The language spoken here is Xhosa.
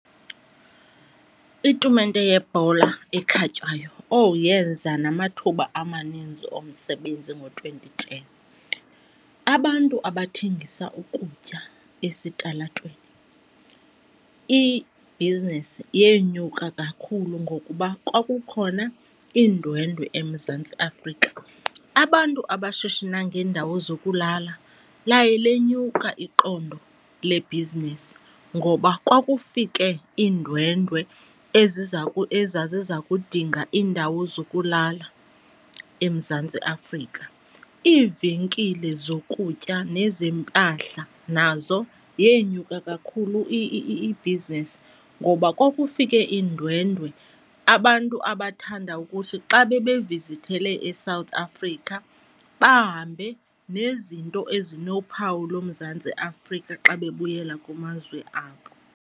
Itumente yebhola ekhatywayo, owu, yeza namathuba amaninzi omsebenzi ngo-twenty ten. Abantu abathengisa ukutya esitalatweni, ibhizinesi yenyuka kakhulu ngokuba kwakukhona iindwendwe eMzantsi Afrika. Abantu abashishina ngeendawo zokulala laye lenyuka iqondo lebhizinisi ngoba kwakufike iindwendwe ezaziza kudinga iindawo zokulala eMzantsi Afrika. Iivenkile zokutya nezempahla nazo yenyuka kakhulu ibhizinesi ngoba kwakufike iindwendwe abantu abathanda ukuthi xa bebe vizithele eSouth Africa bahambe nezinto ezinophawu loMzantsi Afrika xa bebuyela kumazwe abo.